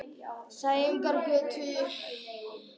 Sæunnargötu